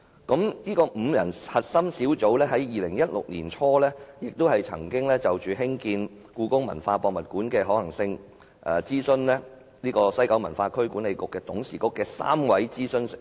該5人核心小組於2016年年初曾就興建故宮館的可行性諮詢西九文化區管理局董事局3位資深成員。